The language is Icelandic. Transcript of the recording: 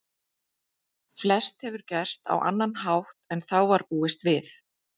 Flest hefur gerst á annan hátt en þá var búist við.